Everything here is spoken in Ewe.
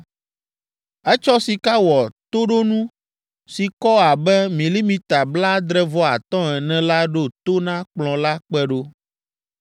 Etsɔ sika wɔ toɖonu si kɔ abe milimita blaadre-vɔ-atɔ̃ ene la ɖo to na kplɔ̃ la kpe ɖo.